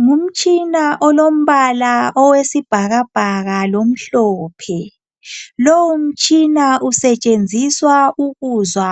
Ngumtshina olombala owesibhakabhaka lomhlophe. Lowu mtshina usetshenziswa ukuzwa